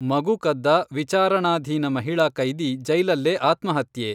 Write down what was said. ಮಗು ಕದ್ದ ವಿಚಾರಣಾಧೀನ ಮಹಿಳಾ ಕೈದಿ ಜೈಲಲ್ಲೇ ಆತ್ಮಹತ್ಯೆ.